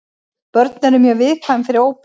Börn eru mjög viðkvæm fyrir óbeinum reykingum.